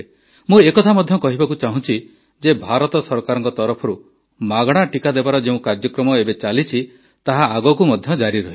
ମୁଁ ଏ କଥା ମଧ୍ୟ କହିବାକୁ ଚାହୁଁଛି ଯେ ଭାରତ ସରକାରଙ୍କ ତରଫରୁ ମାଗଣା ଟିକା ଦେବାର ଯେଉଁ କାର୍ଯ୍ୟକ୍ରମ ଏବେ ଚାଲିଛି ତାହା ଆଗକୁ ମଧ୍ୟ ଜାରି ରହିବ